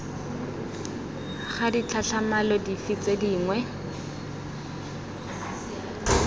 ga ditlhatlhamano dife tse dingwe